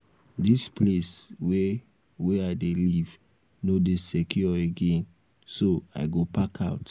dis place wey wey i dey live no dey secure again so i go park out